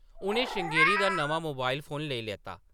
उʼनें श्रृंगेरी दा नमां मोबाइल फोन लेई लैता ।